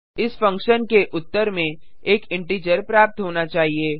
इस फंक्शन के उत्तर में एक इंटीजर प्राप्त होना चाहिए